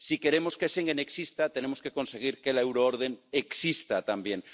Si queremos que Schengen exista, tenemos que conseguir que la euroorden exista también.